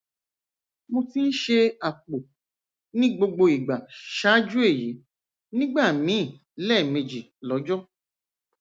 mo ti ń ṣe àpò ní gbogbo ìgbà ṣáájú èyí nígbà míì lẹẹmejì lọjọ